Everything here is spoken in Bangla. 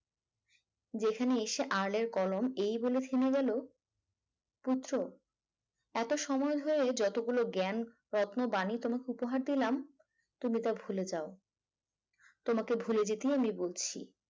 যেখানে এসে আর লের কলম এই বলে থেমে গেল পুত্র এত সময় ধরে যতগুলো জ্ঞান রত্নবাণী তোমাকে উপহার দিলাম তুমি তা ভুলে যাও তোমাকে ভুলে যেতেই আমি বলছি